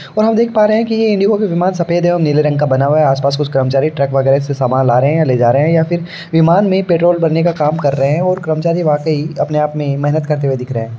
और हम देख पा रहे है के ये इंडिको के विमान कुछ सफ़ेद है और नीले रंग के बने हुए है आस पास कुछ कर्मचारी ट्रक वगेरा से सामान ला रहे है या ले जा रहे है या फिर विमान में पेट्रोल भरने का काम कर रहे है और कर्मचारी वाकई अपने आप में ही मेहनत करते हुए दिख रहे है।